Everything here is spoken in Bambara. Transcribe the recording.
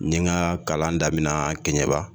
Nin ka kalan daminɛ kɛɲɛba